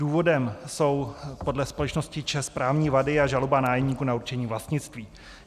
Důvodem jsou podle společnosti ČEZ právní vady a žaloba nájemníků na určení vlastnictví.